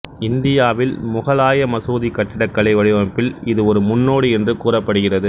இந்தியாவில் முகலாய மசூதி கட்டிடக்கலை வடிவமைப்பில் இது ஒரு முன்னோடி என்று கூறப்படுகிறது